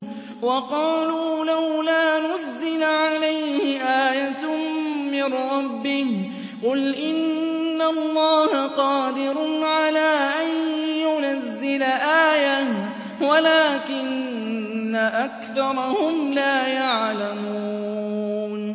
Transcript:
وَقَالُوا لَوْلَا نُزِّلَ عَلَيْهِ آيَةٌ مِّن رَّبِّهِ ۚ قُلْ إِنَّ اللَّهَ قَادِرٌ عَلَىٰ أَن يُنَزِّلَ آيَةً وَلَٰكِنَّ أَكْثَرَهُمْ لَا يَعْلَمُونَ